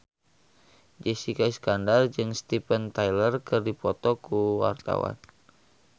Jessica Iskandar jeung Steven Tyler keur dipoto ku wartawan